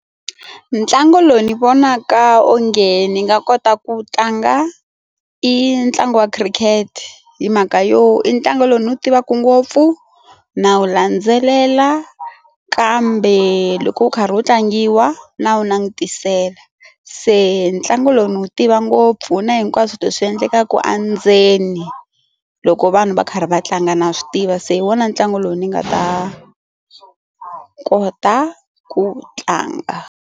Ntlangu lowu ni vonaka onge ni nga kota ku tlanga i ntlangu wa khirikete hi mhaka yo i ntlangu lowu ni wu tivaka ngopfu na wu landzelela kambe loko wu karhi wu tlangiwa na wu langutisela se ntlangu lowu ndzi wu tiva ngopfu na hinkwaswo leswi swi endlekaka a ndzeni loko vanhu va karhi va tlanga na swi tiva se hi wona ntlangu lowu ni nga ta kota ku tlanga.